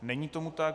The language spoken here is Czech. Není tomu tak.